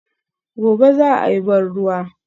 Gobe ​​za a yi ban ruwa